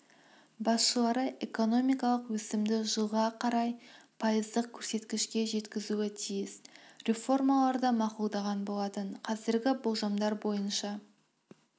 басшылары экономикалық өсімді жылға қарай пайыздық көрсеткішке жеткізуі тиіс реформаларды мақұлдаған болатын қазіргі болжамдар бойынша